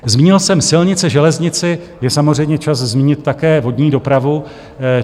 Zmínil jsem silnice, železnici, je samozřejmě čas zmínit také vodní dopravu.